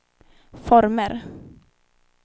former